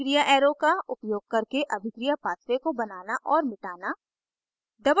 अभिक्रिया arrow का उपयोग करके अभिक्रिया pathway को बनाना और मिटाना